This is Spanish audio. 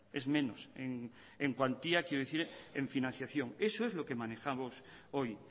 es menos en cuantía quiero decir en financiación eso es lo que manejamos hoy